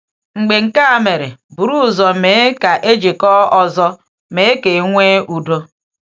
Mgbe nke a mere, buru ụzọ mee ka e jikọọ ọzọ — mee ka e nwee udo.